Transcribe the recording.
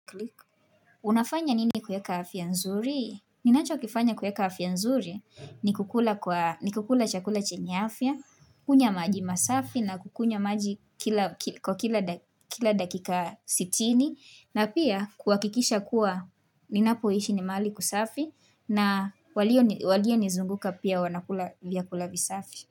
Unafanya nini kuweka afya nzuri? Ninachokifanya kuweka afya nzuri ni kukula kwa ni kukula chakula chenya afya, kunywa maji masafi na kukunywa maji kwa kila dakika sitini, na pia kuakikisha kuwa ninapoishi ni mahali kusafi, na walio nizunguka pia wanakula vyakula visafi.